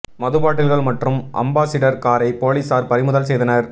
மது பாட்டில்கள் மற்றும் அம்பாசிடர் காரை போலீசார் பறிமுதல் செய்தனர்